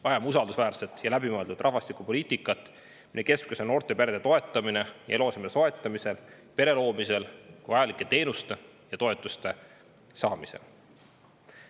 Vajame usaldusväärset ja läbimõeldud rahvastikupoliitikat, mille keskmes on noorte perede toetamine eluaseme soetamisel, pere loomisel, vajalike teenuste ja toetuste saamisel.